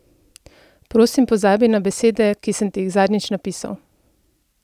Prosim pozabi na besede, ki sem ti jih zadnjič napisal!